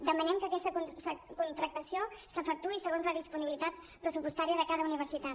demanem que aquesta contractació s’efectuï segons la disponibilitat pressupostària de cada universitat